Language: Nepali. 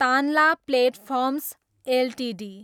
Tanla Platforms Ltd